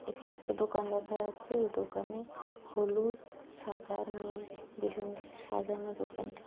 এখানে একটা দোকান দেখা যাচ্ছে এই দোকানে হলুদ সাদা নীল বেলুন দিয়ে সাজানো দোকানটা।